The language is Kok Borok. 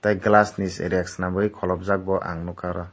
glass ni rek swnambui kholobjak bo ang nukha aro.